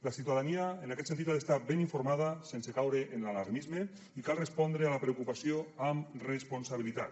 la ciutadania en aquest sentit ha d’estar ben informada sense caure en l’alarmisme i cal respondre a la preocupació amb responsabilitat